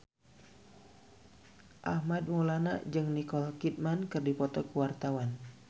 Armand Maulana jeung Nicole Kidman keur dipoto ku wartawan